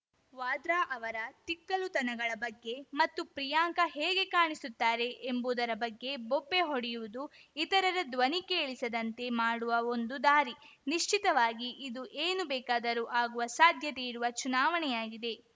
ವಾದ್ರಾ ಅವರ ತಿಕ್ಕಲುತನಗಳ ಬಗ್ಗೆ ಮತ್ತು ಪ್ರಿಯಾಂಕಾ ಹೇಗೆ ಕಾಣಿಸುತ್ತಾರೆ ಎಂಬುದರ ಬಗ್ಗೆ ಬೊಬ್ಬೆ ಹೊಡೆಯುವುದು ಇತರರ ಧ್ವನಿ ಕೇಳಿಸದಂತೆ ಮಾಡುವ ಒಂದು ದಾರಿ ನಿಶ್ಚಿತವಾಗಿ ಇದು ಏನು ಬೇಕಾದರೂ ಆಗುವ ಸಾಧ್ಯತೆಯಿರುವ ಚುನಾವಣೆಯಾಗಿದೆ